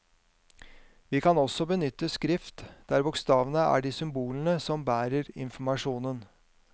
Vi kan også benytte skrift, der bokstavene er de symbolene som bærer informasjonen.